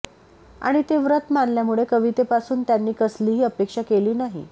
आणि ते व्रत मानल्यामुळे कवितेपासून त्यांनी कसलीही अपेक्षा केली नाही